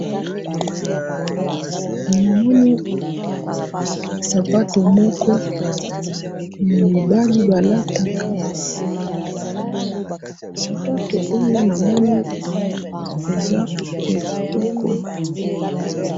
namoni sapato moko ya mibali ba lataka, sapato oyo namoni eza ya kitoko